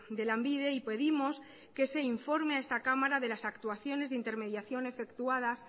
de lanbide y pedimos que se informe a esta cámara de las actuaciones de intermediación efectuadas